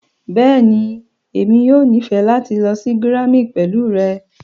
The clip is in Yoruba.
bẹẹni, emi yoo nifẹ lati lọ si Germany pẹlu rẹ.